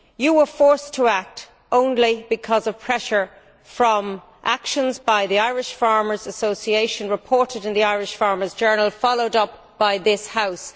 You were forced to act only because of pressure from, and action by, the Irish Farmers' Association, which was reported in the Irish Farmers' Journal and followed up by this House.